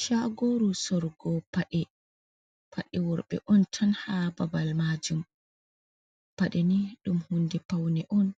Chagoru sorgo pade, paɗeworɓe on tan ha babal majum pade ni ɗum hunde paune on